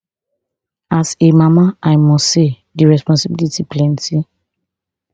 as a mama i must say di responsibility plenty